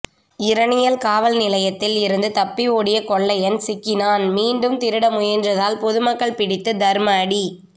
இரணியல் காவல் நிலையத்தில் இருந்து தப்பி ஓடிய கொள்ளையன் சிக்கினான் மீண்டும் திருட முயன்றதால் பொதுமக்கள் பிடித்து தர்மஅடி